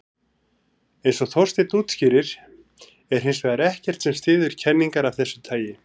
Eins og Þorsteinn útskýrir er hins vegar ekkert sem styður kenningar af þessu tagi.